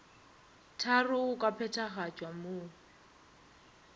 tharo go ka phethagatšwa mo